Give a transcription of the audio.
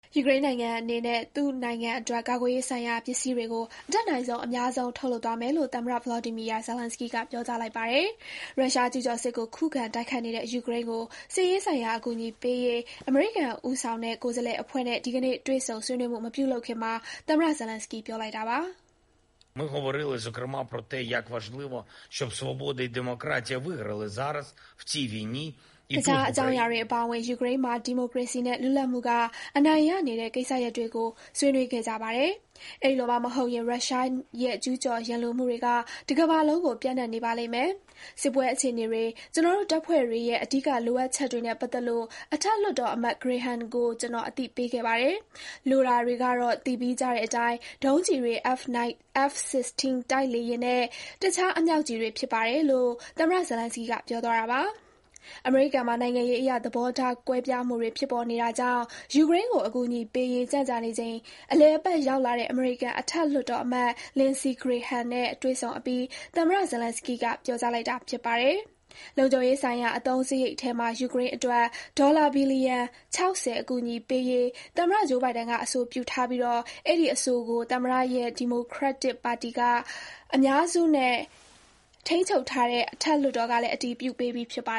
ယူကရိန်းနိုင်ငံအနေနဲ့ သူ့နိုင်ငံအတွက် ကာကွယ်ရေးဆိုင်ရာပစ္စည်းတွေကို အတတ်နိုင်ဆုံး အများဆုံးထုတ်လုပ်သွားမယ်လို့ သမ္မတ Volodymyr Zelenskyy က ပြောကြားလိုက်ပါတယ်။ ရုရှားကျူးကျော်စစ်ကို ခုခံ တိုက်ခိုက်နေတဲ့ ယူကရိန်းကို စစ်ရေးဆိုင်ရာ အကူအညီပေးရေး အမေရိကန် ဦးဆောင်တဲ့ ကိုယ်စားလှယ်အဖွဲ့နဲ့ ဒီကနေ့ တွေ့ဆုံ ဆွေးနွေးမှု မပြုလုပ်ခင်မှာ သမ္မတ Zelenskyy ပြောလိုက်တာပါ။ “တခြားအကြောင်းအရာတွေ အပါအဝင် ယူကရိန်းမှာ ဒီမိုကရေစီနဲ့ လွတ်လပ်မှုက အနိုင်ရနေတဲ့ ကိစ္စရပ်တွေကို ဆွေးနွေးခဲ့ကြပါတယ်။ အဲဒီလိုမှမဟုတ်ရင် ရုရှားရဲ့ ကျူးကျော် ရန်လိုမှုတွေက တကမ္ဘာလုံးကို ပြန့်နှံ့နေပါလိမ့်မယ်။ စစ်ပွဲအခြေအနေတွေ၊ ကျနော်တို့တပ်ဖွဲ့တွေရဲ့ အဓိက လိုအပ်ချက်တွေနဲ့ပတ်သက်လို့ အထက်လွှတ်တော်အမတ် Graham ကို ကျနော် အသိပေးခဲ့ပါတယ်။ လိုတာတွေကတော့ သိပြီးကြတဲ့အတိုင်း ဒုံးကျည်တွေ၊ F-16 တိုက်လေယာဉ်နဲ့ တခြား အမြှောက်ကျည်တွေ ဖြစ်ပါတယ်” - လို့ သမ္မတ Zelenskyy က ပြောသွားတာပါ။ အမေရိကန်မှာ နိုင်ငံရေးအရ သဘောထားကွဲပြားမှုတွေ ဖြစ်ပေါ်နေတာကြောင့် ယူကရိန်းကို အကူအညီပေးရေး ကြန့်ကြာနေချိန် အလည်အပတ် ရောက်လာတဲ့ အမေရိကန်အထက်လွှတ်တော်အမတ် Lindsey Graham နဲ့ တွေ့ဆုံအပြီး သမ္မတ Zelenskyy က ပြောကြားလိုက်တာ ဖြစ်ပါတယ်။ လုံခြုံရေးဆိုင်ရာ အသုံးစရိတ်ထဲမှာ ယူကရိန်းအတွက် ဒေါ်လာ ဘီလီယံ ၆၀ အကူအညီပေးရေး သမ္မတ Joe Biden က အဆိုပြုထားပြီး အဲဒီအဆိုကို သမ္မတရဲ့ ဒီမိုကရက်တစ်ပါတီက အများစုနဲ့ ထိန်းချုပ်ထားတဲ့ အထက်လွှတ်တော်ကလည်း အတည်ပြုပေးပြီးဖြစ်ပါ